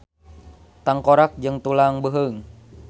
Tangkorak jeung tulang beuheung.